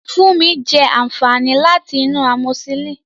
Funmi jẹ àǹfààní láti inú amoxicillin.